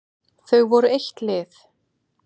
Þau voru eitt lið.